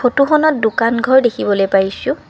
ফটোখনত দোকান ঘৰ দেখিবলৈ পাইছোঁ।